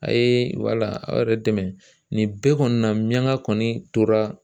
A' ye wala aw yɛrɛ dɛmɛ. Nin bɛɛ kɔni na miyaŋa kɔni tora